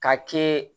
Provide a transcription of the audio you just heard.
Ka kɛ